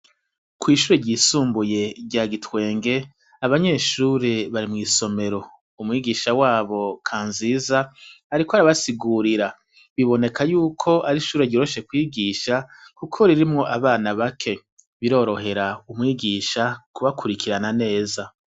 Ishure ry'isumbuye rya Gitwenge, abanyeshuri bari mwisomero. Umwigisha wabo Kanziza ariko arabasigurira. Biboneka yuko Ari ishure ryoroshe kwigisha kuko ririmwo abana bake birorohera umwigisha kubakurikirana neza.